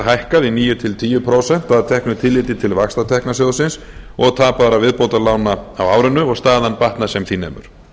hækkað í níu til tíu prósent að teknu tilliti til vaxtatekna sjóðsins og tapaðra viðbótarlána á árinu og staðan batnað sem því nemur